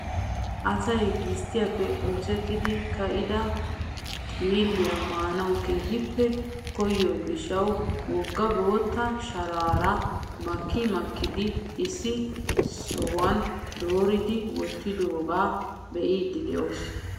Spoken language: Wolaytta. Asay gisttiyaappe oosettidi kiyida xiilliyaa maanawu keehippe koyiyoo giishshawu wogga bootta sharaara maki makidi issi sohuwaan dooridi wottidoogaa be'iidi de'oos.